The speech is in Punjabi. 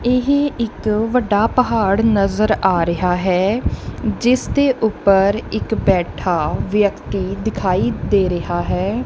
ਇਹ ਇੱਕ ਵੱਡਾ ਪਹਾੜ ਨਜ਼ਰ ਆ ਰਿਹਾ ਹੈ ਜਿਸ ਦੇ ਉੱਪਰ ਇੱਕ ਬੈਠਾ ਵਿਅਕਤੀ ਦਿਖਾਈ ਦੇ ਰਿਹਾ ਹੈ।